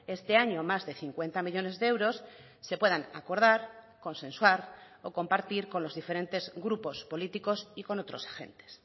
este año más de cincuenta millónes de euros se puedan acordar consensuar o compartir con los diferentes grupos políticos y con otros agentes